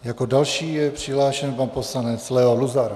Jako další je přihlášen pan poslanec Leo Luzar.